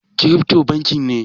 Kirifto banki ne?